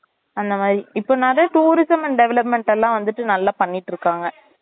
அந்த மாறி இப்பனாதன் toruism and development எல்லாம் வந்துட்டு நல்லா பண்ணிட்டு இருக்காங்க